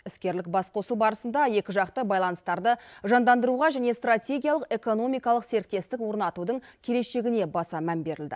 іскерлік басқосу барысында екіжақты байланыстарды жандандыруға және стратегиялық экономикалық серіктестік орнатудың келешегіне баса мән берілді